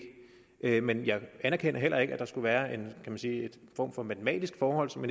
ikke men jeg anerkender heller ikke at der skulle være en form for matematisk forhold som